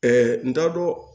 n t'a dɔn